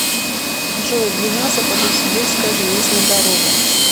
джой длина западносибирская железная дорога